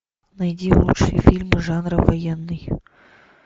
найди лучшие фильмы жанра военный